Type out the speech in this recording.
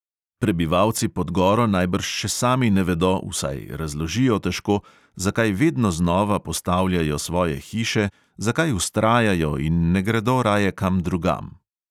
Prebivalci pod goro najbrž še sami ne vedo, vsaj razložijo težko, zakaj vedno znova postavljajo svoje hiše, zakaj vztrajajo in ne gredo raje kam drugam.